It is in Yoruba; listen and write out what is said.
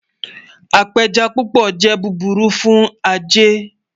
Apéjẹ́ púpọ̀ jẹ́ búbúrù fún ajẹ́.